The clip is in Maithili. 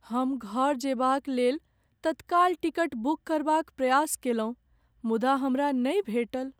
हम घर जयबाक लेल तत्काल टिकट बुक करबाक प्रयास कयलहुँ मुदा हमरा नहि भेटल।